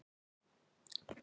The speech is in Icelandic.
Fleiri andlit bætast í hópinn.